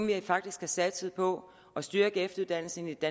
vi faktisk har satset på at styrke efteruddannelsen i det